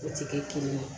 O tɛ kɛ kelen ye